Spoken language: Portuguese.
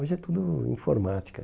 Hoje é tudo informática.